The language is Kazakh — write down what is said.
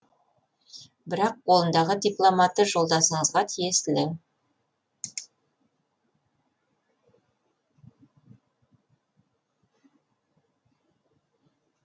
бірақ қолындағы дипломаты жолдасыңызға тиесілі